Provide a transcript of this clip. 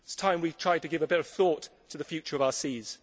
it is time we tried to give a bit of thought to the future of our seas.